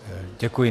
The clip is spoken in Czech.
Děkuji.